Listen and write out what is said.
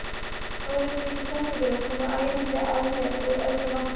Stórir hvítir sendibílar koma æðandi að mér úr öllum áttum.